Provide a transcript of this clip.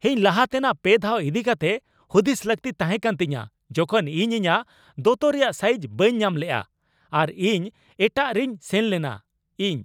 ᱤᱧ ᱞᱟᱦᱟᱛᱮᱱᱟᱜ ᱯᱮ ᱫᱷᱟᱣ ᱤᱫᱤ ᱠᱟᱛᱮᱜ ᱦᱩᱫᱤᱥ ᱞᱟᱹᱠᱛᱤ ᱛᱟᱦᱮᱸᱠᱟᱱ ᱛᱤᱧᱟᱹ ᱡᱚᱠᱷᱚᱱ ᱤᱧ ᱤᱧᱟᱹᱜ ᱫᱚᱛᱚ ᱨᱮᱭᱟᱜ ᱥᱟᱭᱤᱡᱽ ᱵᱟᱹᱧ ᱧᱟᱢ ᱞᱮᱜᱼᱟ ᱟᱨ ᱤᱧ ᱮᱴᱟᱜ ᱨᱤᱧ ᱥᱮᱱ ᱞᱮᱱᱟ ᱾ (ᱤᱧ)